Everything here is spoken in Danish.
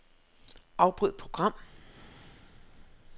Afbryd program.